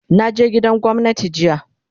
Na je gidan gwamnati jiya